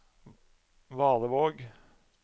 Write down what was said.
Valevåg